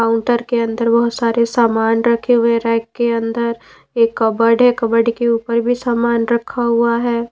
Counter के अंदर बहुत सारे सामान रखे हुए हैंरैक के अंदर एक कबर्ड है कबर्ड के ऊपर भी सामान रखा हुआ है।